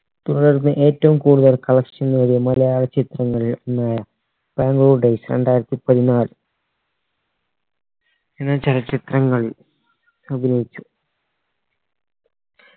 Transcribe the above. തുടർന്ന് ഏറ്റവും കൂടുതൽ collection നേടിയ മലയാള ചിത്രങ്ങളിൽ ഒന്നായ ബാംഗ്ലൂർ days രണ്ടായിരത്തി പതിനാല് എന്ന ചലച്ചിത്രങ്ങളിൽ അഭിനയിച്ചു